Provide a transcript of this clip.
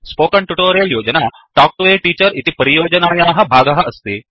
spoken tutorial योजना talk to a teacher इति परियोजनायाः भागः अस्ति